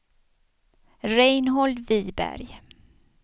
Reinhold Viberg